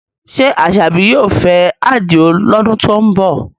Ṣé Asabi yóò fẹ́ Adio lọ́dún tó ń bọ̀?